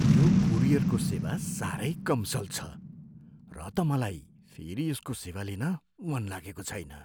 यो कुरियरको सेवा सारै कमसल छ र त मलाई फेरि यसको सेवा लिन मन लागेको छैन।